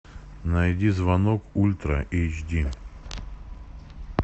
найди звонок ультра эйч ди